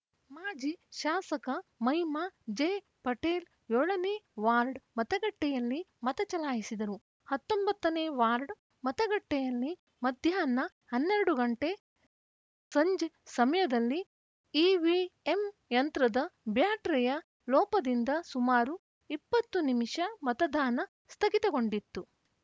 ಮಾಜಿ ಶಾಸಕ ಮಹಿಮಾ ಜೆಪಟೇಲ್‌ ಏಳನೇ ವಾರ್ಡ್‌ ಮತಗಟ್ಟೆಯಲ್ಲಿ ಮತ ಚಲಾಯಿಸಿದರು ಹತ್ತೊಂಬತ್ತನೇ ವಾರ್ಡ್‌ ಮತಗಟ್ಟೆಯಲ್ಲಿ ಮಧ್ಯಾಹ್ನ ಹನ್ನೆರಡು ಗಂಟೆ ಸಂಜೆ ಸಮಯದಲ್ಲಿ ಇವಿಎಂ ಯಂತ್ರದ ಬ್ಯಾಟರಿಯ ಲೋಪದಿಂದ ಸುಮಾರು ಇಪ್ಪತ್ತು ನಿಮಿಷ ಮತದಾನ ಸ್ಥಗಿತಗೊಂಡಿತ್ತು